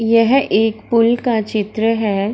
यह एक पुल का चित्र है।